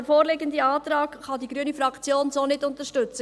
Den vorliegenden Antrag kann die grüne Fraktion so nicht unterstützen.